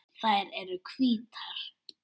Þær eru hvítar.